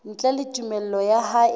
ntle le tumello ya hae